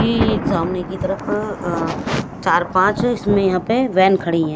की सामने की तरफ अ चार पांच इसमें यहां पे वैन खड़ी हैं।